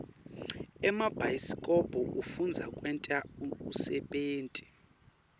emabhayisikobho afundzisa kwenta unsebenti